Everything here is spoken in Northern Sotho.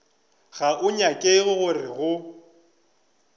go a nyakega gore go